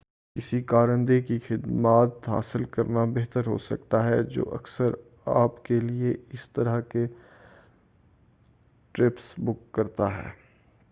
کسی کارندے کی خدمات حاصل کرنا بہتر ہو سکتا ہے جو اکثر آپ کیلئے اس طرح کے ٹرپس بُک کرتا ہے